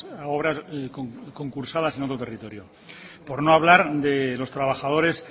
a concursadas en otro territorio por no hablar de los trabajadores